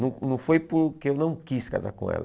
Não não foi porque eu não quis casar com ela.